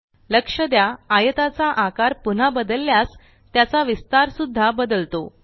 लक्ष द्या आयताचा आकार पुन्हा बदलल्यास त्याचा विस्थार सुद्धा बदलतो